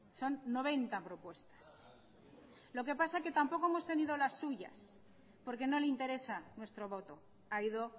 son noventa propuestas lo que pasa que tampoco hemos tenido las suyas porque no le interesa nuestro voto ha ido